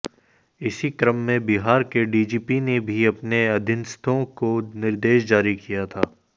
इसी क्रम में बिहार के डीजीपी ने भी अपने अधीनस्थों को निर्देश जारी किया था